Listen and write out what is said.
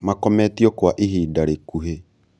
makometio kwa ihinda rĩkuhĩ